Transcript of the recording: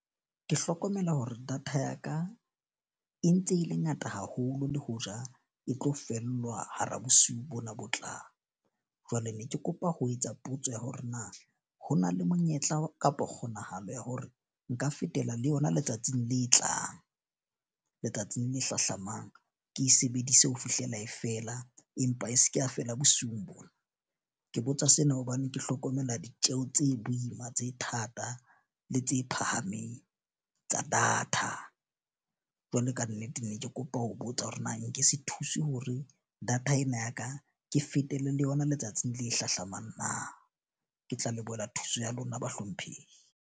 Ke hlokomela hore data ya ka e ntse e le ngata haholo, le ho ja e tlo fellwa hara bosiu bona botlang jwale ne ke kopa ho etsa potso ya hore na ho na le monyetla kapa kgonahalo ya hore nka fetela le yona letsatsing le tlang. Letsatsing le hlahlamang. Ke e sebedise ho fihlela e fela empa e se ke a feela bosiung bona. Ke botsa sena hobane ke hlokomela ditjeho tse boima, tse thata le tse phahameng tsa data. Jwale kannete ne ke kopa ho botsa hore na nke se thuse hore data ena ya ka ke fetele le yona letsatsi le hlahlamang na? Ke tla lebohela thuso ya lona bahlomphehi.